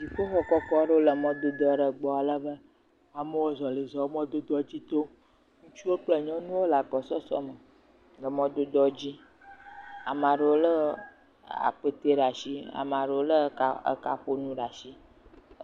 Dziƒoxɔ kɔkɔ aɖewo le mɔdodo aɖe gbɔ ale be amewo zɔlizɔm mɔdodoa dzi tom. Ŋutsuwo kple nyɔnuwo le agbɔsɔsɔ me le mɔdodoa dzi. Ame aɖewo le akpɛte ɖe asi. Ame aɖewo le ekaƒonuwo ɖe asi.